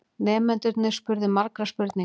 Nemendurnir spurðu margra spurninga.